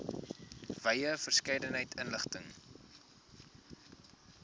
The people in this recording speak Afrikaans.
wye verskeidenheid inligting